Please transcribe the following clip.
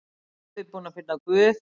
Pabbi búinn að finna Guð!